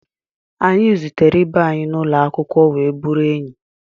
Anyị zutere ibe anyị n'ụlọ akwụkwọ wee bụrụ enyi